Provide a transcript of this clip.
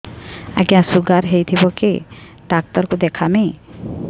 ଆଜ୍ଞା ଶୁଗାର ହେଇଥିବ କେ ଡାକ୍ତର କୁ ଦେଖାମି